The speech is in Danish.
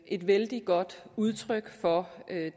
et vældig godt udtryk for